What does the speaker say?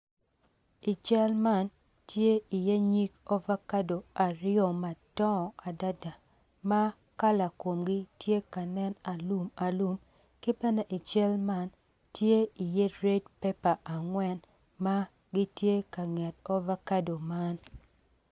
I cal man tye iye nyig ovakado aryo madongo adada ma kala komgi tye ka nen ma alumalum ki bene i cal man tye iye red pepar angwen.